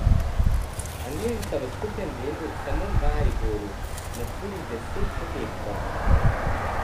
Angleži so v skupinskem delu samo Mariboru nasuli deset zadetkov.